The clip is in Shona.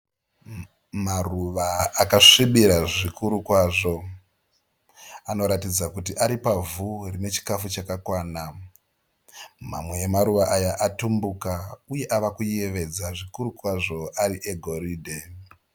Maruva akasvibira zvikuru kwazvo. Anoratidza kuti ari pavhu rine chikafu chakakwana. Mamwe emaruva aya atumbuka uye ava kuyevedza zvikuru kwazvo ari egoridhe.